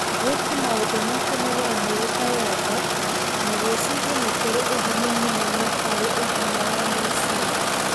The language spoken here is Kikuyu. Gwĩka maũndũ ma kũnogora mwĩrĩ ta yoga na gwĩciria nĩ kũrĩ ũguni mũnene ũgima wa meciria.